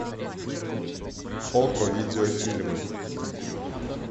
окко видеофильмы